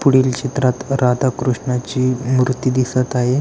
पुढील चित्रात राधाकृष्णाची मूर्ती दिसत आहे.